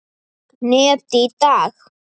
net í dag?